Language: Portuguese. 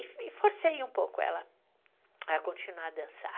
E forcei um pouco ela a continuar a dançar.